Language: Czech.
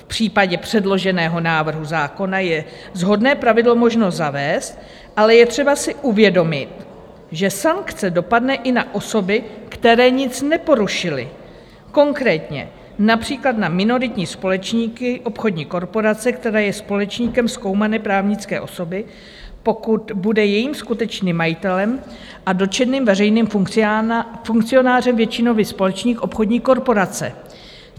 V případě předloženého návrhu zákona je shodné pravidlo možno zavést, ale je třeba si uvědomit, že sankce dopadne i na osoby, které nic neporušily, konkrétně například na minoritní společníky obchodní korporace, která je společníkem zkoumané právnické osoby, pokud bude jejím skutečným majitelem a dotčeným veřejným funkcionářem většinový společník obchodní korporace.